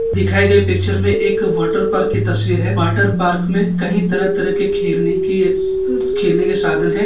दिखाई गए पिक्चर में एक वाटर पार्क की तस्वीर है वाटर पार्क में कई तरह तरह खेलने के खेलने के साधन है।